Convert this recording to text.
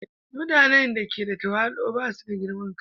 Mutane da ke da tawali'u ba su da girman kai.